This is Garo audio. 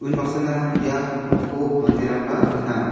unbaksana ia noko manderangba gnang.